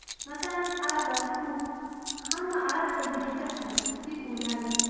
Masalan, arablar ko‘p, hamma arab tilida gaplashadi, deb o‘ylardim.